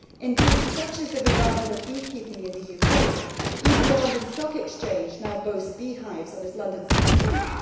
Indeed, such is the revival of beekeeping in the UK that even the London Stock Exchange now boasts beehives on its London City roof.